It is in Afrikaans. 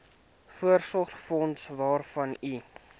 voorsorgsfonds waarvan u